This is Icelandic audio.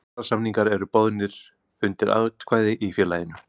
Kjarasamningar eru bornir undir atkvæði í félaginu.